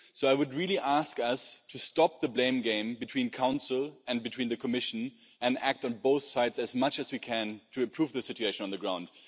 So I would ask us to stop the blame game between the Council and the Commission and act on both sides, as much as we can, to improve the situation on the ground.